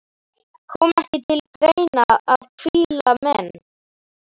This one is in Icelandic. Kom ekki til greina að hvíla menn?